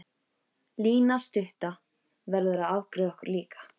Lína stutta verður að afgreiða okkur líka.